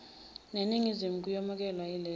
neningizimu kuyomukelwa yileli